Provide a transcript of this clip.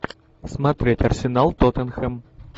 смотреть арсенал тоттенхэм